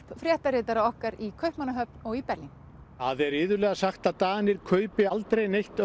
fréttaritara okkar í Kaupmannahöfn og í Berlín það er iðulega sagt að Danir kaupi aldrei neitt